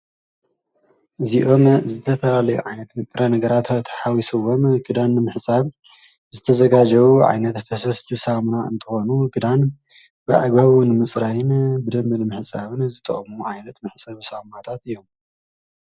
እዚኦም ዝተፈላለዮ ዓይነት ንጥረ ነገራት ተሓዊስወም ክዳንዳን ምሕጻብ ዝተዘጋጀዉ ዓይነት ፈሰስቲ ሳምና እንተኾኑ ክዳን ብኣግባቡ ምጽራይን ብደምቢ ምሕጻብን ዝጠቅሙ ዓይነት መሕፀቢ ሰዊነታት እዮም።